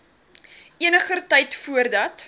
eniger tyd voordat